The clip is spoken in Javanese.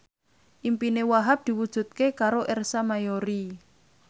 impine Wahhab diwujudke karo Ersa Mayori